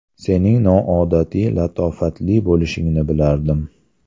Sening noodatiy latofatli bo‘lishingni bilardim.